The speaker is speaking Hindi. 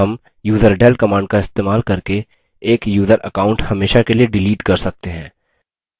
हम userdel command का इस्तेमाल करके एक यूज़र account हमेशा के लिए डिलीट कर सकते हैं